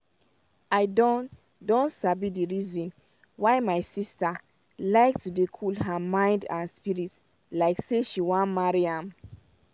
i don don sabi d reason why my sister like to dey cool her mind and spirit like say she wan marry am.